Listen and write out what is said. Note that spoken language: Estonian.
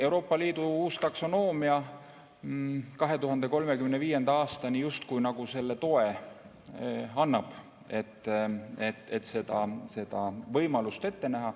Euroopa Liidu uus taksonoomia 2035. aastani justkui selle toe annab, et seda võimalust ette näha.